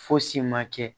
Fosi ma kɛ